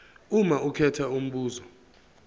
uma ukhetha umbuzo